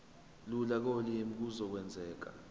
lula kolimi kuzokwenzeka